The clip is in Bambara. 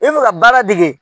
I bi fɛ ka baara dege